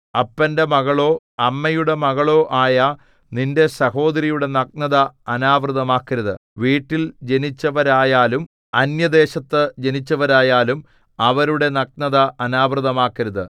അപ്പന്റെ മകളോ അമ്മയുടെ മകളോ ആയ നിന്റെ സഹോദരിയുടെ നഗ്നത അനാവൃതമാക്കരുത് വീട്ടിൽ ജനിച്ചവരായാലും അന്യദേശത്ത് ജനിച്ചവരായാലും അവരുടെ നഗ്നത അനാവൃതമാക്കരുത്